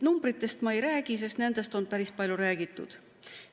Numbritest ma ei räägi, sest nendest on päris palju räägitud.